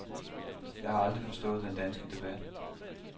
Jeg har aldrig forstået den danske debat.